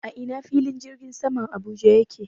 A ina fillin jirgin saman Abuja yake?